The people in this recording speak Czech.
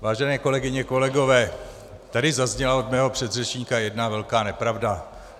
Vážené kolegyně, kolegové, tady zazněla od mého předřečníka jedna velká nepravda.